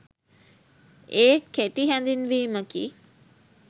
ඒ කෙටි හැඳින්වීමකි.